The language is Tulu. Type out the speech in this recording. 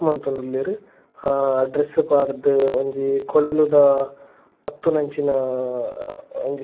ಉಂದು ಮಲ್ತೊಂದುಲ್ಲೆರ್ ಅಹ್ ಡ್ರೆಸ್ಸ್ ಪಾಡ್ದ್ ಒಂಜಿ ಕೊಳಲುದ ಪತ್ತುನಂಚಿನ ಅಹ್ ಒಂಜಿ.